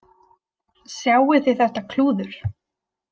Sjáið þið þetta klúður